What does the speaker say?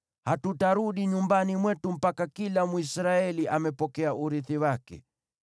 Hatutarudi nyumbani mwetu mpaka kila Mwisraeli apokee urithi wake.